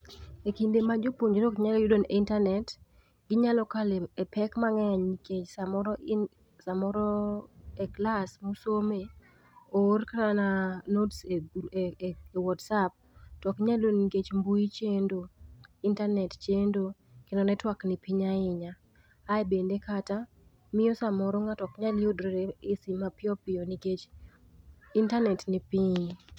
Ekind ema jopuonjre ok nyal yudo intanet, ginyalo kale pek mangeny nikech samoro, samoro e klas mosome oor kana notes e whatsapp to ok inyal yudo nikech mbui chendo, intanet chendo kendo network nipiny ahinya. Ae bende kata, miyo samoro ng'ato ok nyal yudre e sim mapiyo piyo nikech intanet ni piny